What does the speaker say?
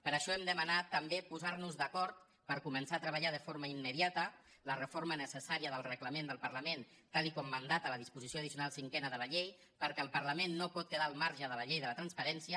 per això hem demanat també posar nos d’acord per començar a treballar de forma immediata la reforma necessària del reglament del parlament tal com mandata la disposició addicional cinquena de la llei perquè el parlament no pot quedar al marge de la llei de la transparència